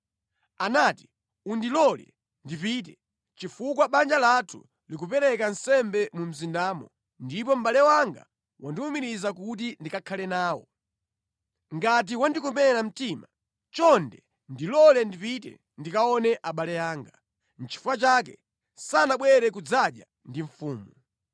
Anati, ‘Undilole ndipite, chifukwa banja lathu likupereka nsembe mu mzindamo ndipo mʼbale wanga wandiwumiriza kuti ndikakhale nawo. Ngati wandikomera mtima, chonde ndilole ndipite ndikaone abale anga.’ Nʼchifukwa chake sanabwere kudzadya ndi mfumu.”